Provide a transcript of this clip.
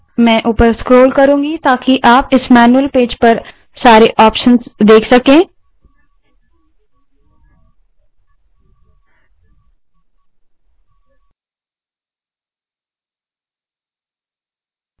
मैं ऊपर scroll करुँगी ताकि आप इस मैन्यूअल पेज पर सारे options देख सकें